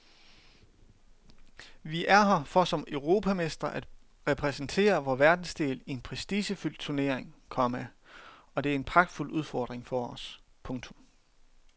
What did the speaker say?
Vi er her for som europamestre at repræsentere vor verdensdel i en prestigefyldt turnering, komma og det er en pragtfuld udfordring for os. punktum